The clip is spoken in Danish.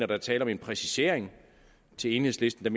der er tale om en præcisering til enhedslisten